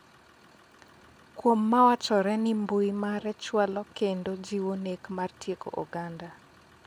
kuom mawachore ni mbui mare chwalo kendo jiwo nek mar tieko oganda